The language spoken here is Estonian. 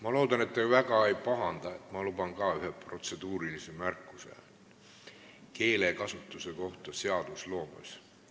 Ma loodan, et te väga ei pahanda, kui ma luban endale ühe protseduurilise märkuse keelekasutuse kohta seadusloomes.